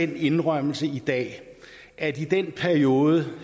den indrømmelse i dag at i den periode